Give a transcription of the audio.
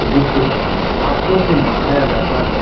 जिसको हाथो से बनाया जाता है।